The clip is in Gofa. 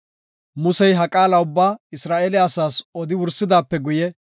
Musey ha qaala ubbaa Isra7eele asaas odi wursidaape guye,